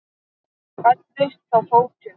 Fæddist þá fótur.